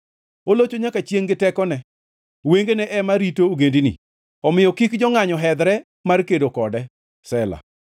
Olocho nyaka chiengʼ gi teko ne, wengene ema rito ogendini. Omiyo kik jongʼanyo hedhre mar kedo kode. Sela